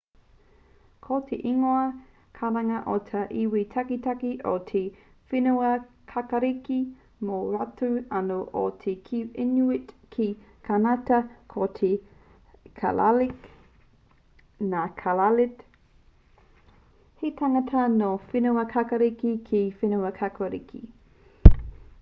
ko te ingoa karanga o ngā iwi taketake o te whenuakākāriki mō rātou anō ko te inuit ki kānata ko te kalaalleq ngā kalaallit he tangata nō whenuakākāriki ki whenuakākāriki